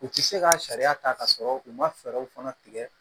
U tɛ se ka sariya ta k'a sɔrɔ u ma fɛɛrɛw fana tigɛ